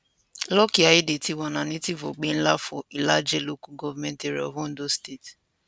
lucky aiyedatiwa na native of obenla for ilaje local government area of ondo state